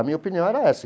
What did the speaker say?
A minha opinião era essa.